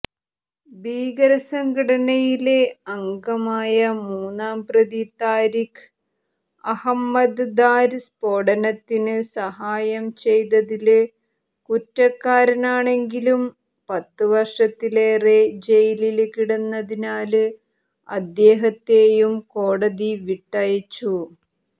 ഭീകരസംഘടനയിലെ അംഗമായ മൂന്നാംപ്രതി താരിഖ് അഹമ്മദ് ദാര് സ്ഫോടനത്തിന് സഹായംചെയ്തതില് കുറ്റക്കാരനാണെങ്കിലും പത്തുവര്ഷത്തിലേറെ ജയിലില് കിടന്നതിനാല് അദ്ദേഹത്തെയും കോടതി വിട്ടയച്ചു